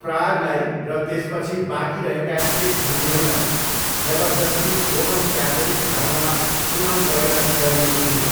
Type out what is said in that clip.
प्रागलाई र त्यसपछि बाँकी रहेका चेक भूमिहरूलाई जबरजस्ती रोमन क्याथोलिक धर्ममा पुनः परिणत गरिएको थियो।